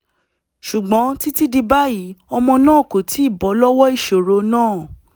ṣùgbọ́n títí di báyìí ọmọ náà kò tíì bọ́ lọ́wọ́ ìṣòro náà